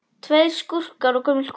Tveir skúrkar og gömul kona